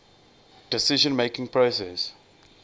decision making process